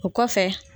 O kɔfɛ